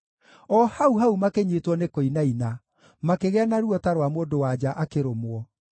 O hau-hau makĩnyiitwo nĩ kũinaina, makĩgĩa na ruo ta rwa mũndũ-wa-nja akĩrũmwo.